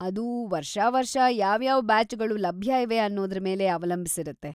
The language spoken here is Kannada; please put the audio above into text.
ಅದು ವರ್ಷಾವರ್ಷ ಯಾವ್ಯಾವ ಬ್ಯಾಚ್‌ಗಳು ಲಭ್ಯ ಇವೆ ಅನ್ನೂದ್ರ ಮೇಲೆ ಅವಲಂಬಿಸಿರುತ್ತೆ.